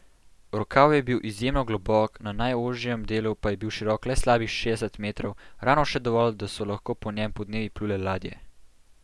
Rokav je bil izjemno globok, na najožjem delu pa je bil širok le slabih šestdeset metrov, ravno še dovolj, da so lahko po njem podnevi plule ladje.